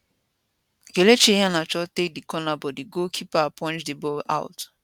kelechi iheanacho take di corner but di goalkeeper punch di ball out